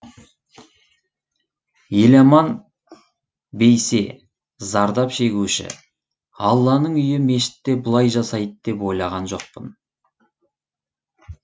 еламан бейсе зардап шегуші алланың үйі мешітте бұлай жасайды деп ойлаған жоқпын